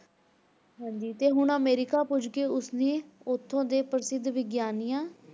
ਹਾਂਜੀ ਤੇ ਹੁਣ ਅਮਰੀਕਾ ਪੁੱਜ ਕੇ ਉਸ ਨੇ ਉਥੋਂ ਦੇ ਪ੍ਰਸਿੱਧ ਵਿਗਿਆਨੀਆਂ,